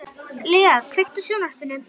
Lea, kveiktu á sjónvarpinu.